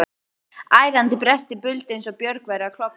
Ærandi brestir buldu eins og björg væru að klofna.